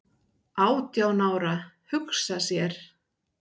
"""Átján ára, hugsa sér!"""